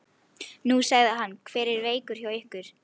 Nú, sagði hann, hver er veikur hjá ykkur?